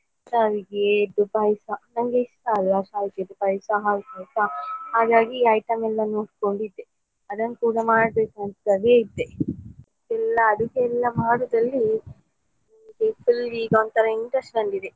ಶ್ಯಾವಿಗೆದ್ದು ಪಾಯ್ಸ ನಂಗೆ ಇಷ್ಟ ಅಲ್ಲ ಶ್ಯಾವಿಗೆದ್ದು ಪಾಯ್ಸ ಹಾಗಾಗಿ item ಎಲ್ಲಾ ನೋಡ್ಕೊಂಡಿದ್ದೆ ಅದನ್ನು ಕೂಡ ಮಾಡ್ಬೇಕು ಅಂತಲೇ ಇದ್ದೆ ಅದಕ್ಕೆಲ್ಲಾ ಮಾಡಿದ್ರಲ್ಲಿ full ಈಗ ಒಂತರ interest ಬಂದಿದೆ.